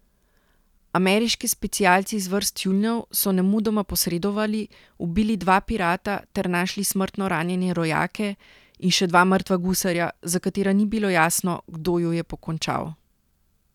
Ameriški specialci iz vrst tjulnjev so nemudoma posredovali, ubili dva pirata ter našli smrtno ranjene rojake in še dva mrtva gusarja, za katera ni bilo jasno, kdo ju je pokončal.